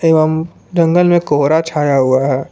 एवं जंगल में कोहरा छाया हुआ है।